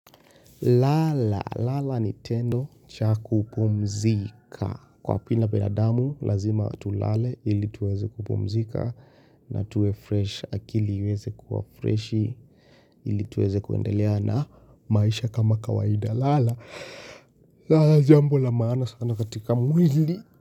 Lala lala ni tendo cha kupumzika kwa pina peda damu lazima tulale ili tuweze kupomzika na tuwe fresh akili uweze kuwa freshi ili tuweze kuendelea na maisha kama kawaida lala lala jambo lamana sana katika mwili.